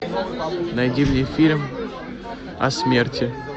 найди мне фильм о смерти